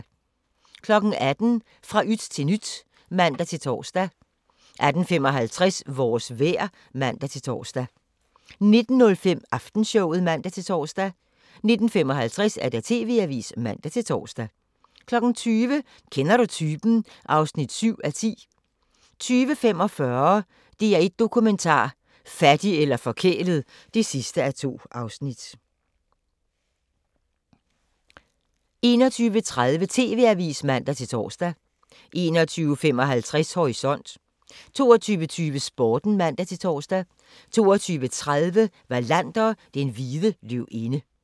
18:00: Fra yt til nyt (man-tor) 18:55: Vores vejr (man-tor) 19:05: Aftenshowet (man-tor) 19:55: TV-avisen (man-tor) 20:00: Kender du typen? (7:10) 20:45: DR1 Dokumentar: Fattig eller forkælet (2:2) 21:30: TV-avisen (man-tor) 21:55: Horisont 22:20: Sporten (man-tor) 22:30: Wallander: Den hvide løvinde